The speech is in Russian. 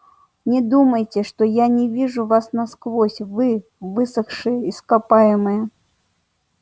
не думайте что я не вижу вас насквозь вы высохшее ископаемое